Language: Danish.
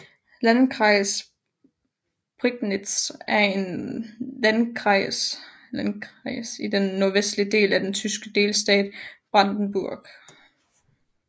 Landkreis Prignitz er en landkreis i den nordvestlige del af den tyske delstat Brandenburg